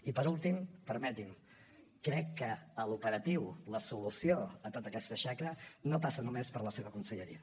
i per últim permeti’m crec que l’operatiu la solució a tota aquesta xacra no passa només per la seva conselleria